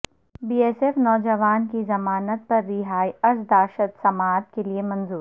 be S F نوجوان کی ضمانت پر رہائی کی عرضداشت سماعت کیلئے منظور